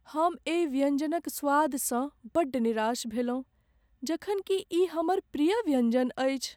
हम एहि व्यंजनक स्वादसँ बड़ निराश भेलहुँ जखन कि ई हमर प्रिय व्यंजन अछि।